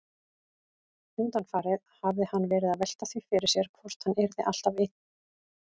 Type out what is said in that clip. Undanfarið hafði hann verið að velta því fyrir sér hvort hann yrði alltaf einn.